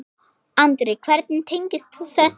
Andri: Hvernig tengist þú þessu?